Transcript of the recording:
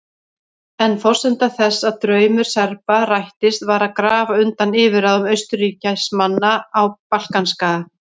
En forsenda þess að draumur Serba rættist var að grafa undan yfirráðum Austurríkismanna á Balkanskaga.